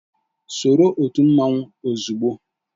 Soro otu mmanwu ozugbo!